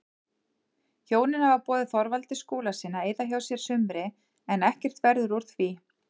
Hjónin hafa boðið Þorvaldi Skúlasyni að eyða hjá sér sumri en ekkert verður úr því.